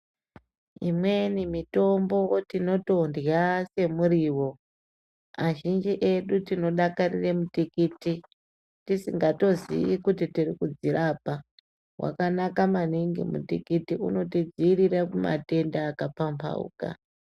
Imweni mitombo tinotondya semuriwo azhinji edu tinodakarire mutikiti tisingatozivi kuti tirikudzirapa wakanaka maningi mutikiti unotidzivirire kumatenda akapambauka.